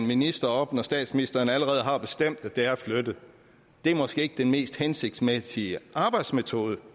minister op når statsministeren allerede har bestemt at det er flyttet det er måske ikke den mest hensigtsmæssige arbejdsmetode